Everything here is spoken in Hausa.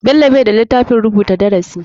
Bello bai da litafin rubuta darasi.